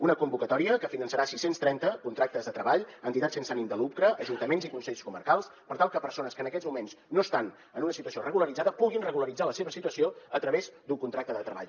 és una convocatòria que finançarà sis cents i trenta contractes de treball a entitats sense ànim de lucre ajuntaments i consells comarcals per tal que persones que en aquests moments no estan en una situació regularitzada puguin regularitzar la seva situació a través d’un contracte de treball